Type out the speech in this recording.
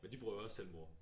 Men de bruger jo også Telmore